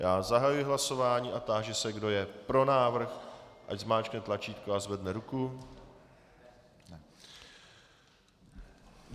Já zahajuji hlasování a táži se, kdo je pro návrh, ať zmáčkne tlačítko a zvedne ruku.